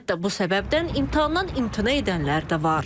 Hətta bu səbəbdən imtahandan imtina edənlər də var.